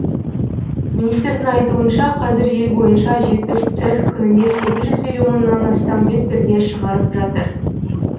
министрдің айтуынша қазір ел бойынша жетпіс цех күніне сегіз жүз елу мыңнан астам бетперде шығырап жатыр